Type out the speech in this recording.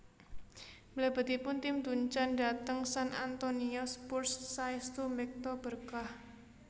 Mlebetipun Tim Duncan dhateng San Antonio Spurs saèstu mbekta berkah